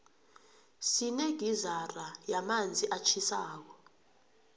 sinegizara yamanzi atjhisako